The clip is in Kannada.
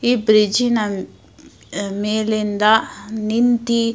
ಈ ಬ್ರಿಜ್ ಮೇಲಿಂದ ನಿಂತಿ --